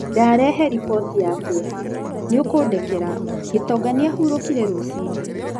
Ndarehe riboti ya kĩeha. Nĩ ũkũndekera. Gĩtonga nĩ ahurokire rũcinĩ.